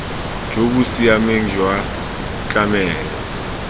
jo bo siameng jwa tlamelo